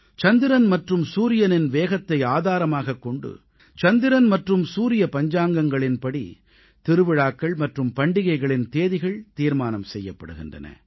சந்திரன் மற்றும் சூரியனின் வேகத்தை ஆதாரமாகக் கொண்டு சந்திரன் மற்றும் சூரிய பஞ்சாங்கங்களின்படி திருவிழாக்கள் மற்றும் பண்டிகைகளின் தேதிகள் தீர்மானம் செய்யப்படுகின்றன